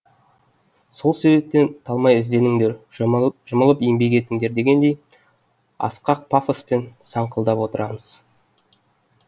сол себептен талмай ізденіңдер жұмылып жұмылып еңбек етіңдер дегендей асқақ пафоспен саңқылдап отырамыз